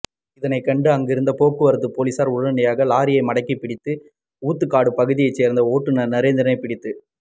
இதனை கண்ட அங்கிருந்த போக்குவரத்து போலிசார் உடனடியாக லாரியை மடக்கி பிடித்து ஊத்துகாடு பகுதியை சேர்ந்த ஓட்டுனர் நரேந்திரனை பிடித்து